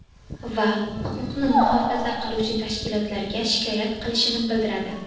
Va huquqni muhofaza qiluvchi tashkilotlarga shikoyat qilishini bildiradi.